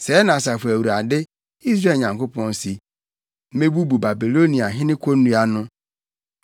“Sɛɛ na Asafo Awurade, Israel Nyankopɔn se: ‘Mebubu Babiloniahene konnua no.